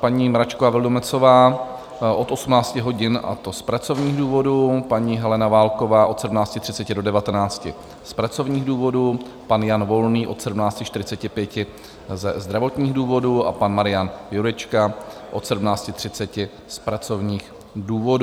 Paní Mračková Vildumetzová od 18 hodin, a to z pracovních důvodů, paní Helena Válková od 17.30 do 19 z pracovních důvodů, pan Jan Volný od 17.45 ze zdravotních důvodů a pan Marian Jurečka od 17.30 z pracovních důvodů.